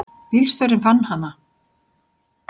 Bílstjórinn fann hana.